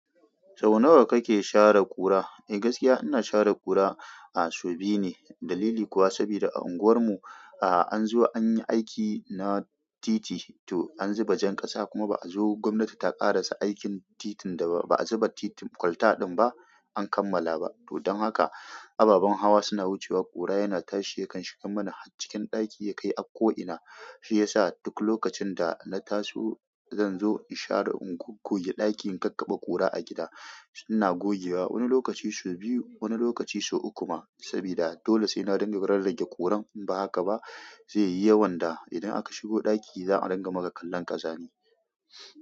Sau nawa kake share ƙura? Eh gaskiya ina share ƙura a so biyu ne. Dalili kuwa saboda unguwar mu, a an zo an yi aiki na titi to an zuba jan ƙasa kuma ba a zo gwamnati ta ƙarasa aikin titin da ba a zuba titi kwalta ɗin ba an kammala ba. To don haka ababen hawa suna wucewa ƙura yana tashi yakan shiga mana cikin ɗaki ya kai a ko'ina. Shi ya sa duk lokacin da na taso zan zo in share, in goggoge ɗakin in kakkaba ƙura a gida. Ina gogewa wani lokaci sau biyu wani lokaci sau uku ma sabida dole sai na dinga rarrage ƙuran in ba haka ba zai yi yawan da idan aka shigo ɗaki za a dinga maka kallon ƙazari.